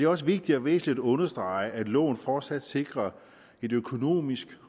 også vigtigt og væsentligt at understrege at loven fortsat sikrer et økonomisk